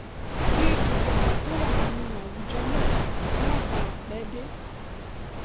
kí gbogbo àwọn tó wà nínú àwùjọ náà má bàa pẹ́ dé